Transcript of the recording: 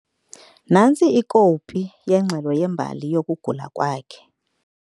Nantsi ikopi yengxelo yembali yokugula kwakhe.